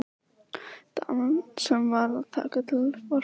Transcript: Daman sem var að taka til var farin.